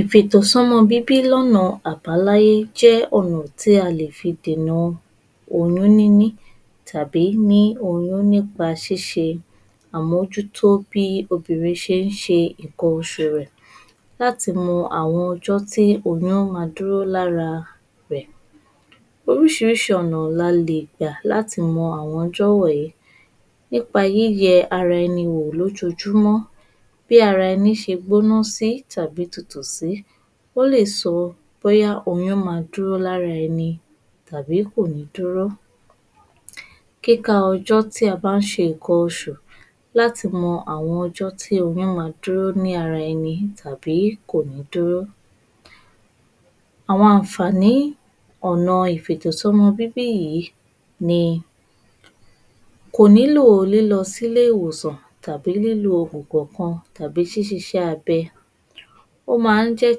Ìfètò sọmọ bíbí lọ́nà àbáláyé jẹ́ ọ̀nà tí a lè fi dènà oyún níní tàbí ní oyún nípa ṣíṣe àmójútó bí obìnrin ṣe ń ṣe nǹkan oṣù rẹ̀ láti mọ àwọn ọjọ́ tí oyún ma dúró lára rẹ̀, oríṣiríṣi ọ̀nà la lè gbà láti mọ àwọn ọjọ́ wọ̀nyí nípa yí yẹ ara ẹni wò lójoojúmọ́, bí ara ẹni ṣe gbóná sí tàbí tutù sí, ó lè sọ bóyá oyún máa dúró lára ẹni tàbí kò ní dúró. Kíka ọjọ́ tí a bá ń ṣe nǹkan oṣù láti mọ àwọn ọjọ́ tí oyún máa dúró ní ara ẹni tàbí kò ní dúró. Àwọn àǹfààní ọ̀na ìfètò sọmọ bíbí yìí ni kò nílò lílọ sílè ìwòsàn, lílo ògùn kan tàbí ṣíṣe iṣẹ́ abẹ. Ó máa ń jẹ́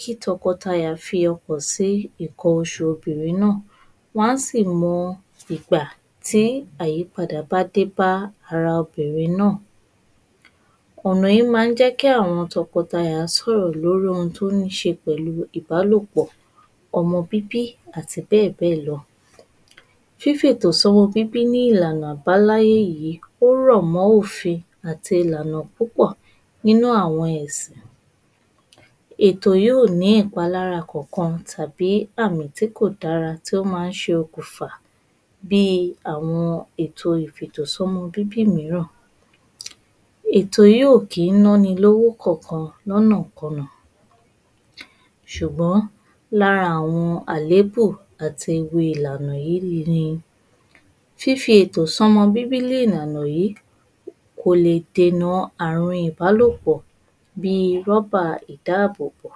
kí tọkọtaya fi ọkàn si nǹkan oṣù obìnrin náà wọn á sì mọ ìgbà tí àyípadà bá dé bá ara obìnrin náà. Ọ̀nà yìí máa ń jẹ́ kí àwọn tọkọtaya sọ̀rọ̀ lórí ohun tó níṣe pẹ̀lú ìbálòpọ́ ọmọ bíbí àti bẹ́ẹ̀ bẹ́ẹ̀ lọ. Fífètò sọmọ bíbí ní ìlànà àbáláyé yìí, ó rọ̀ mọ́ òfin àti ìlànà púpọ̀ nínú àwọn ẹ̀sìn. Ètò yìí ò ní ìpalára kankan tàbí àmì tí kò dára tí ó máa ń ṣokùnfà bíi àwọn ìfètò sọmọ bíbí mìíràn. Ètò yìí ò kí ń ná ni lówó kankan lọ́nàkọnà, ṣùgbọ́n lára àwọn àléébù àti ewu ìlànà yìí ni Fífètò sọmọ bíbí ní ìlànà yìí kò lè dènà àrùn ìbálòpọ́ bíi rọ́bà ìdáàbòbò.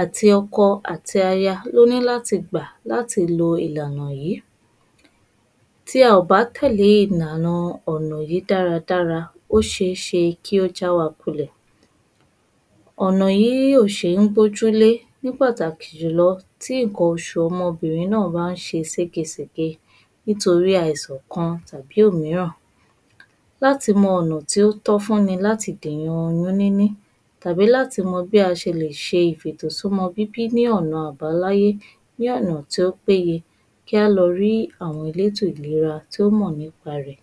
Àti ọkọ ati aya lóní láti gbà láti lo ìlànà yìí.. Tí a ò bá tẹ́lè ìlànà yìí dáradára ó ṣeé ṣe kí ó já wa kulẹ̀. Ọ̀nà yìí ò ṣeé gbójú lé ní pàtàkì jù lọ tí nǹkan ọmọbìnrin náà bá ń ṣe segésègé nítorí àìsàn kan tàbí òmíràn. Láti mọ ọ̀nà tí ó tọ́ fún ní láti dèna oyún níní,, tàbí láti mọ bí a ṣe lè ṣe ìfètò sọmọ bíbí ní ọ̀nà àbáláyé ní ọ̀nà tí ó péye kí á lọ rí àwọn elétó ìlera tó mọ̀ nípa rẹ̀.